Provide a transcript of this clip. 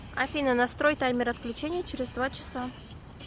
афина настрой таймер отключения через два часа